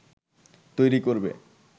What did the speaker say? তৈরী করবে